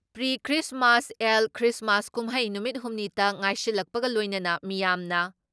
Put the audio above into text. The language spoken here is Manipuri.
ꯄ꯭ꯔꯤꯈ꯭ꯔꯤꯁꯃꯥꯁ ꯑꯦꯜ ꯈ꯭ꯔꯤꯁꯃꯥꯁ ꯀꯨꯝꯍꯩ ꯅꯨꯃꯤꯠ ꯍꯨꯝꯅꯤꯇ ꯉꯥꯏꯁꯤꯜꯂꯛꯄꯒ ꯂꯣꯏꯅꯅ ꯃꯤꯌꯥꯝꯅ